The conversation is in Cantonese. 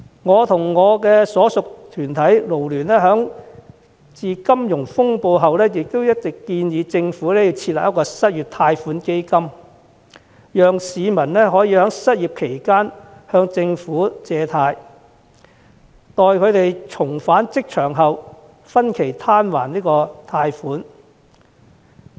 我和我所屬的港九勞工社團聯會，在金融風暴後一直建議政府設立失業貸款基金，讓市民可以在失業期間向政府借貸，待重返職場後分期攤還貸款。